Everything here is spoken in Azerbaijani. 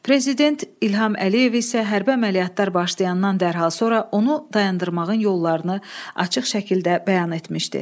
Prezident İlham Əliyev isə hərbi əməliyyatlar başlayandan dərhal sonra onu dayandırmağın yollarını açıq şəkildə bəyan etmişdi.